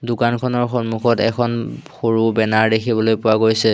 দোকানখনৰ সন্মুখত এখন সৰু বেনাৰ দেখিবলৈ পোৱা গৈছে।